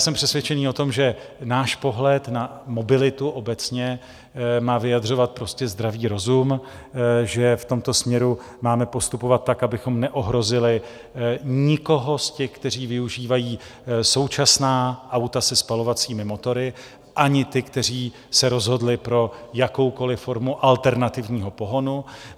Jsem přesvědčený o tom, že náš pohled na mobilitu obecně má vyjadřovat prostě zdravý rozum, že v tomto směru máme postupovat tak, abychom neohrozili nikoho z těch, kteří využívají současná auta se spalovacími motory, ani ty, kteří se rozhodli pro jakoukoliv formu alternativního pohonu.